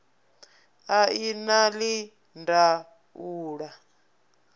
a i na ii ndaula